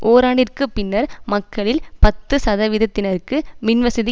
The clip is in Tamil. ஒராண்டிற்கு பின்னர் மக்களில் பத்து சதவிதத்தினருக்கு மின்வசதி